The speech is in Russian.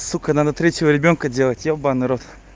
сука надо третьего ребёнка делать ебанный рот